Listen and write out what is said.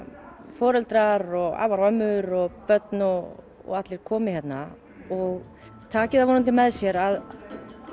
foreldrar og afar og ömmur og börn og allir komi hérna og taki það vonandi með sér að